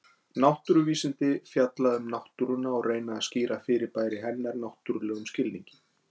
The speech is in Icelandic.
Náttúruvísindi fjalla um náttúruna og reyna að skýra fyrirbæri hennar náttúrlegum skilningi.